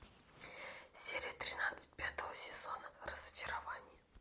серия тринадцать пятого сезона разочарование